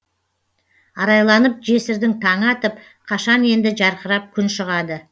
арайланып жесірдің таңы атып қашан енді жарқырап күн шығады